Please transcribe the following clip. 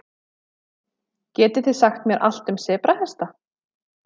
Getið þið sagt mér allt um sebrahesta?